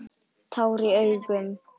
Tár í augum hennar.